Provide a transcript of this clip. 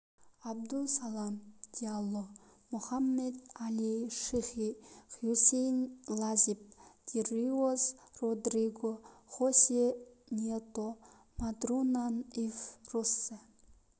абду салам диалло мохаммед али шихи хюсейин лазип дириоз родриго хосе ньето матурана ив россье